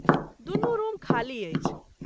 दुनू रूम ख़ाली अछि।